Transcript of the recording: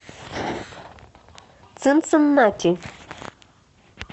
цинциннати